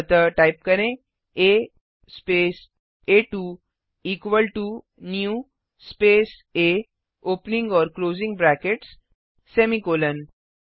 अतः टाइप करें a space आ2 equal to new space a opening और क्लोजिंग ब्रैकेट्स सेमीकॉलन